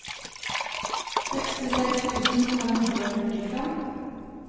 sekstiseks tusen fem hundre og førtifem